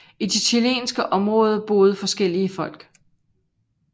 I det chilenske område boede forskellige folk